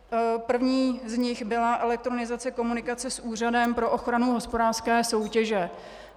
První z nich byla elektronizace komunikace s Úřadem pro ochranu hospodářské soutěže.